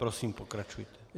Prosím, pokračujte.